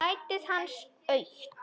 Sætið hans autt.